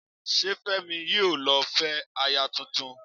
Ṣé Fẹ́mi yìí ló ní ó fẹ́ aya tuntun?